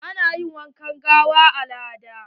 Ana yi wa gawa abun al'ada